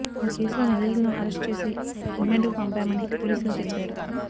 ఈ కేసులో నిందితులను అరెస్ట్ చేసి రిమాండుకు పంపామని పోలీసులు తెలిపారు